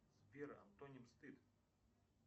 сбер антоним стыд